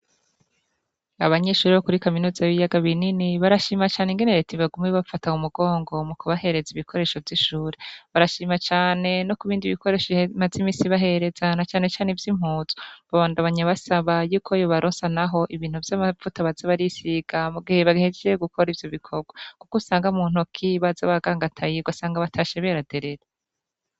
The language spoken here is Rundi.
Abanyeshuri bo kuri kaminuza b'iyaga binini barashima cane ingenereti bagumi bapfatawa mugongo mu kubahereza ibikoresho vy'ishuri barashima cane no ku bindi bikoresho imazimisibaherezana canecane vyo impuzwa ba bandabanya basaba yuko yo barosa, naho ibintu vy'amavuta bazabarisiga mu gihe baghejejee gukora ivyo bikorwa, kuko usaa nga munt kibaza ba gangatayirwa asange abata sheberaderera.